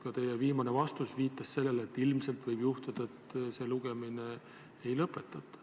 Ka teie viimane vastus viitas sellele, et ilmselt võib juhtuda, et seda lugemist ei lõpetata.